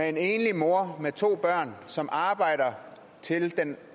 en enlig mor med to børn som arbejder til den